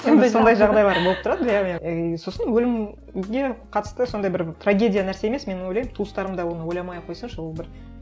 сондай сондай жағдайлар болып тұрады иә и сосын өлімге қатысты сондай бір трагедия нәрсе емес мен ойлаймын туыстарым да оны ойламай ақ қойсыншы ол бір